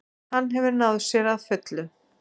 Hann hefur náð sér að fullu